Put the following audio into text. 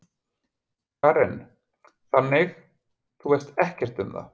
Karen: Þannig, þú veist ekkert um það?